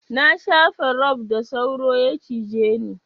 Na shafa rob da sauro ya cije ni.